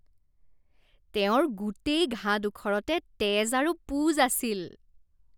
তেওঁৰ গোটেই ঘাঁডোখৰতে তেজ আৰু পূঁজ আছিল।